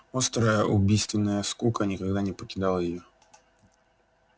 острая убийственная скука никогда не покидала её